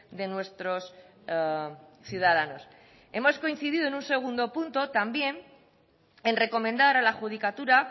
de nuestros ciudadanos hemos coincidido en un segundo punto también en recomendar a la judicatura